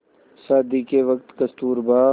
शादी के वक़्त कस्तूरबा